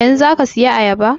Yanzun za ka saya ayaba?